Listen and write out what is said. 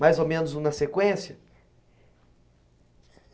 Mais ou menos uma sequência?